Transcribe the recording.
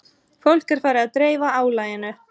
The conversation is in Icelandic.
Fólk er farið að dreifa álaginu